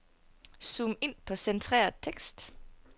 Zoom ind på centreret tekst.